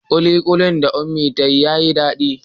Kulikuli da Unmie ta yi yayi dadi.